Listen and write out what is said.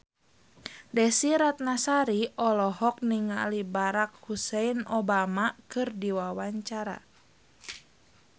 Desy Ratnasari olohok ningali Barack Hussein Obama keur diwawancara